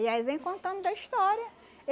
E aí vem contando da história.